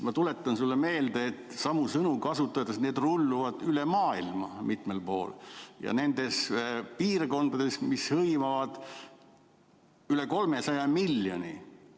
Ma tuletan sulle meelde, samu sõnu kasutades, et need rulluvad üle maailma mitmel pool ja ka nendes piirkondades, mis hõlmavad üle 300 miljoni.